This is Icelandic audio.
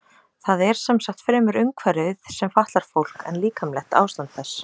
Það er sem sagt fremur umhverfið sem fatlar fólk en líkamlegt ástand þess.